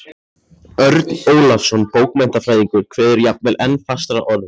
Örn Ólafsson bókmenntafræðingur kveður jafnvel enn fastar að orði